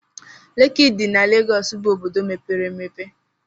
Leki dị na Legọs bụ obodo mepere emepe.